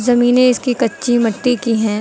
जमीनें इसकी कच्ची मट्टी की हैं।